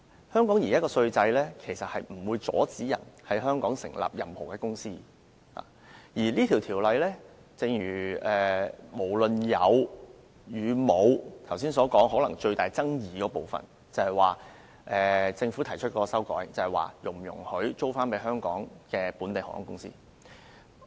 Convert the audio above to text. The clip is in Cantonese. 香港現行稅制不會阻止任何人在香港成立任何公司，而這項《條例草案》，不論有沒有，可能是剛才所說的最大爭議部分，就是政府提出了修改，關乎是否容許出租飛機予香港本地航空公司。